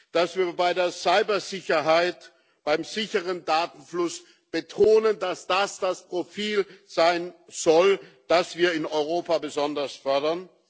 dass wir bei der Cybersicherheit, beim sicheren Datenfluss betonen, dass das das Profil sein soll, das wir in Europa besonders fordern